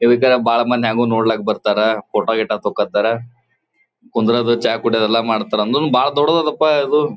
ಈಗ್ ಬಾಳ್ ಮಂದಿ ಹೆಂಗೋ ನೋಡ್ಲಕ ಬರತ್ತರ್ ಫೋಟೋ ಗಿಟೊ ತಕೋತ್ತರ್ ಕುಂದ್ರೋದು ಚಹ ಕುಡಿಯೋದು ಎಲ್ಲಾ ಮಾಡತ್ತರ್ ಅಂದ್ರೂನು ಬಾಳ್ ದೊಡ್ಡದ್ ಇದು.